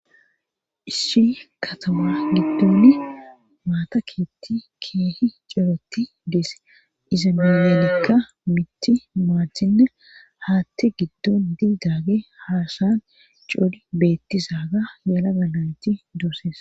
Issi katama giddoni maataketti keehi ceroti deese iza melenekka miti maahinne haatti giddon didaage haasayan coli beettisa ga yala ga nayti dooses